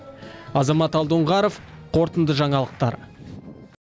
азамат алдоңғаров қорытынды жаңалықтар